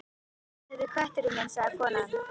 Já, þetta er kötturinn minn sagði konan.